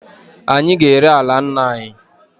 Anyị ga-ere ala nna anyị.